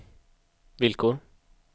villkor